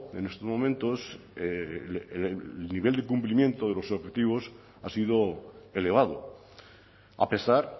en estos momentos el nivel de cumplimiento de los objetivos ha sido elevado a pesar